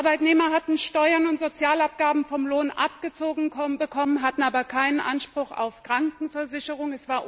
Die Arbeitnehmer hatten Steuern und Sozialabgaben vom Lohn abgezogen bekommen, hatten aber keinen Anspruch auf Krankenversicherung.